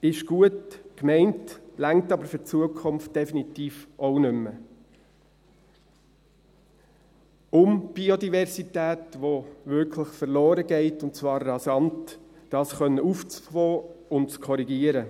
Das ist gut gemeint, reicht aber für die Zukunft definitiv auch nicht mehr, um die Biodiversität, welche wirklich verloren geht, und zwar rasant, auffangen zu können und zu korrigieren.